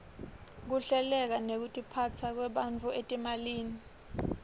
kuhleleka nekutiphasa kwebafundzi etimalini